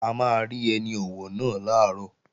A máa rí ẹni ọ̀wọ̀ náà làárọ̀